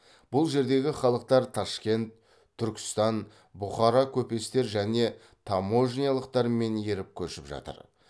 бұл жердегі халықтар ташкент түркістан бұқара көпестер және таможнялықтармен еріп көшіп жатыр